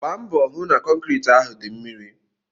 Gbaa mbọ ka ị hụ na kọnkriti ahụ dị mmiri!